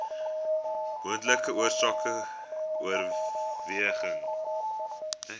moontlike oorsake oorerwing